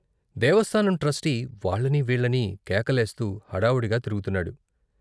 దేవస్థానం trustee వాళ్ళనీ వీళ్ళనీ కేకలేస్తూ హడావుడిగా తిరుగుతున్నాడు.